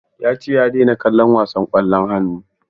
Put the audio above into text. Ya ce ya daina kallon wasan ƙwallon hannu.